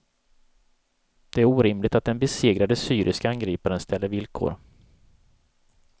Det är orimligt att den besegrade syriske angriparen ställer villkor.